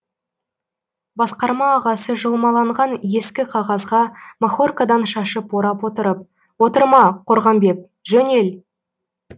басқарма ағасы жұлмаланған ескі қағазға махоркадан шашып орап отырып отырма қорғамбек жөнел